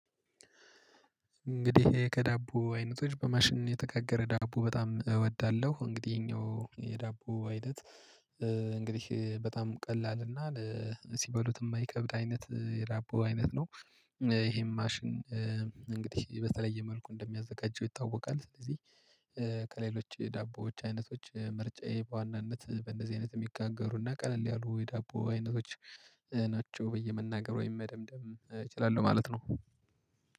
እንግዲህ ከዳቦ አይነቶች በማሽን የተጋገረ ዳቦ በጣም እወዳለሁ እንግዲህ ይሄኛው የዳቦ አይነት እንግዲህ በጣም ቀላል እና ሲበሉት የማይከብድ አይነት የዳቦ አይነት ነው። ይሄም ማሽን እንግዲህ በተለየ መልኩ እንደሚያዘጋጀው ይታወቃል ስለዚህ። ከሌሎች የዳቦዎች አይነቶች ምርጫዬ በዋናነት በእንደዚህ አይነት የሚጋገሩና ቀለል ያሉ የዳቦ አይነቶች ናቸው ብየ መናገር ወይም መደምደም እችላለሁ ማለት ነው።